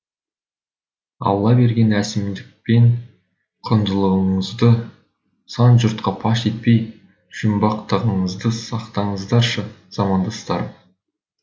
алла берген әсемдік пен құндылығыңызды сан жұртқа паш етпей жұмбақтығыңызды сақтаңыздаршы замандастарым